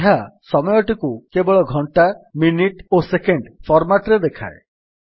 ଏହା ସମୟଟିକୁ କେବଳ ଘଣ୍ଟା ମିନିଟ୍ ଓ ସେକେଣ୍ଡ୍ hhmmଏସଏସ୍ ଫର୍ମାଟ୍ ରେ ଦେଖାଏ